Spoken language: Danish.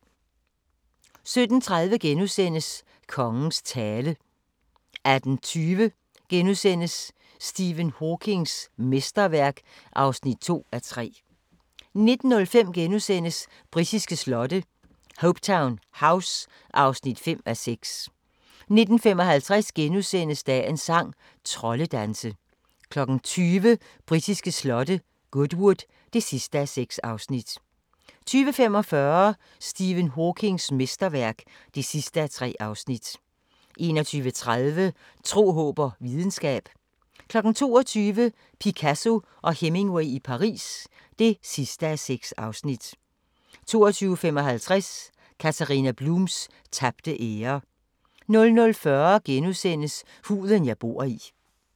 17:30: Kongens tale * 18:20: Stephen Hawkings mesterværk (2:3)* 19:05: Britiske slotte: Hopetoun House (5:6)* 19:55: Dagens sang: Troldedanse * 20:00: Britiske slotte: Goodwood (6:6) 20:45: Stephen Hawkings mesterværk (3:3) 21:30: Tro, håb og videnskab 22:00: Picasso og Hemingway i Paris (6:6) 22:55: Katharina Blums tabte ære 00:40: Huden jeg bor i *